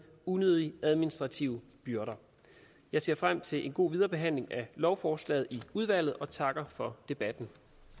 unødige administrative byrder jeg ser frem til en god viderebehandling af lovforslaget i udvalget og takker for debatten